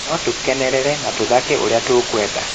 No tũkenerere na tũthake ũrĩa tũkwenda